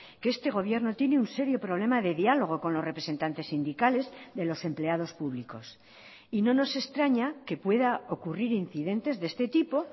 que este gobierno tiene un serio problema de diálogo con los representantes sindicales de los empleados públicos y no nos extraña que pueda ocurrir incidentes de este tipo